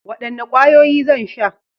Wadanne kwayoyi zan sha?